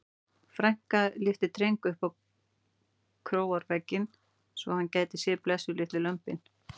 Frænka lyfti Dreng upp á króarvegginn svo hann gæti séð blessuð litlu lömbin.